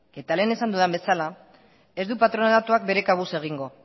eta lehen esan dudan bezala ez du patronatuak bere kabuz egingo